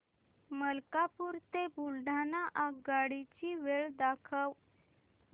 मलकापूर ते बुलढाणा आगगाडी ची वेळ दाखव